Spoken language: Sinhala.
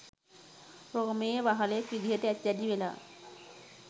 රෝමයේ වහලෙක් විදිහට ඇති දැඩි වෙලා